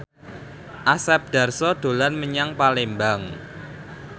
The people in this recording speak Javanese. Asep Darso dolan menyang Palembang